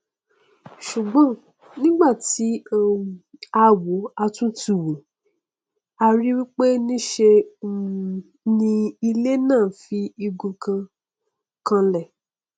ṣùgbọn nígbà tí um a wòó tí a túnun wò a ríi pé nṣe um ni ilé náà fi igun kan kanlẹ